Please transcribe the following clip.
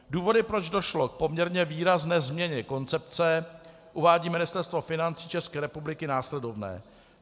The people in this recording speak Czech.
Důvody, proč došlo k poměrně výrazné změně koncepce, uvádí Ministerstvo financí České republiky následovné.